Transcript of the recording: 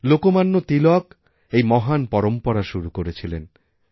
লোকমান্য তিলক এই মহান পরম্পরা শুরু করেছিলেন